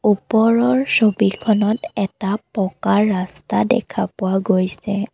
ওপৰৰ ছবিখনত এটা পকা ৰাস্তা দেখা পোৱা গৈছে।